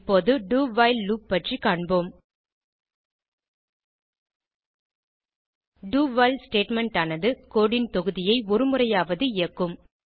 இப்போது do while loop பற்றி காண்போம் doவைல் ஸ்டேட்மெண்ட் ஆனது கோடு ன் தொகுதியை ஒருமுறையாவது இயக்கும்